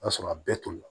O y'a sɔrɔ a bɛɛ tolila